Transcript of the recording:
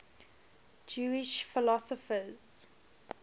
jewish philosophers